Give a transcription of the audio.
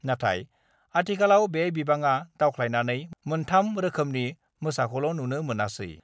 नाथाय आथिखालाव बे बिबांआ दावख्लायनानै मोन 3 रोखोमनि मोसाखौल' नुनो मोनसै।